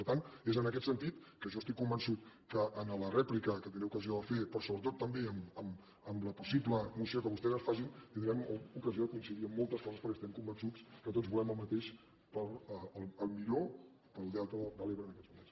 per tant és en aquest sentit que jo estic convençut que en la rèplica que tindré ocasió de fer però sobretot també en la possible moció que vostès ens facin tin·drem ocasió de coincidir en moltes coses perquè estem convençuts que tots volem el mateix per al millor del delta de l’ebre en aquests moments